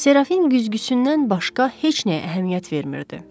Serafin güzgüsündən başqa heç nəyə əhəmiyyət vermirdi.